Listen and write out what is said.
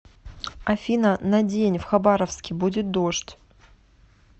афина на день в хабаровске будет дождь